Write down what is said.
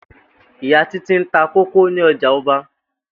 Ìyá Títí ń ta kókó ní o̩jà o̩ba